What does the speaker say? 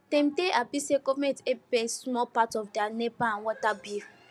them dey happy say government help pay small part of their nepa and water bill